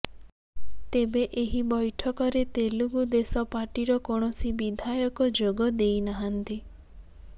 ତେବେ ଏହି ବୈଠକରେ ତେଲୁଗୁ ଦେଶମ ପାର୍ଟିର କୌଣସି ବିଧାୟକ ଯୋଗ ଦେଇନହାନ୍ତି